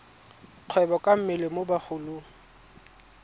kgwebo ka mmele mo bagolong